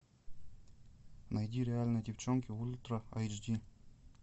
найди реальные девчонки ультра эйч ди